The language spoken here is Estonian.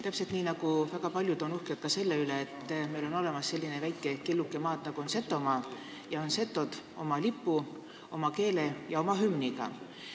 Täpselt samuti on väga paljud uhked selle üle, et meil on olemas selline väike killuke maad nagu Setomaa ning setod oma lipu, keele ja hümniga.